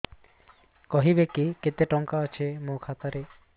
କହିବେକି କେତେ ଟଙ୍କା ଅଛି ମୋ ଖାତା ରେ